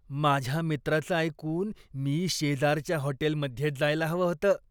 माझ्या मित्राचं ऐकून मी शेजारच्या हॉटेलमध्येच जायला हवं होतं.